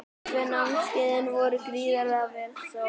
Fyrstu tvö námskeiðin voru gríðarlega vel sótt.